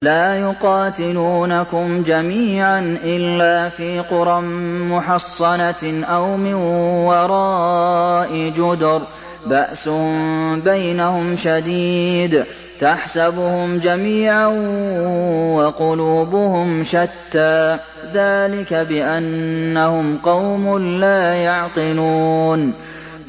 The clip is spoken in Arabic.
لَا يُقَاتِلُونَكُمْ جَمِيعًا إِلَّا فِي قُرًى مُّحَصَّنَةٍ أَوْ مِن وَرَاءِ جُدُرٍ ۚ بَأْسُهُم بَيْنَهُمْ شَدِيدٌ ۚ تَحْسَبُهُمْ جَمِيعًا وَقُلُوبُهُمْ شَتَّىٰ ۚ ذَٰلِكَ بِأَنَّهُمْ قَوْمٌ لَّا يَعْقِلُونَ